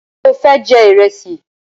Ṣe o fẹ jẹ ìrẹsì?